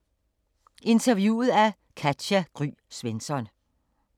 Interviewet af Katja Gry Svensson